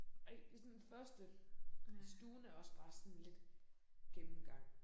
Ej det sådan første. Stuen er også bare sådan lidt gennemgang